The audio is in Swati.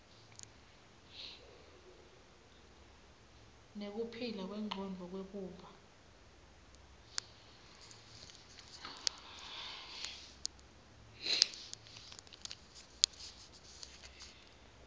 nekuphila kwengcondvo kwekuba